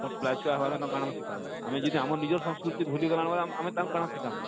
ଆମର ପିଲା ଛୁଆ କାଣା ଆମେ ଶିଖାମା ଆମେ ଯଦି ଆମର ନିଜର ସଂସ୍କୃତି ଭୁଲି ଗନା ବଇଲେ ଆମେ ତାହାକୁ କାଣା ଶିଖାମା